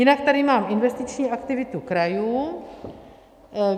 Jinak tady mám investiční aktivitu krajů.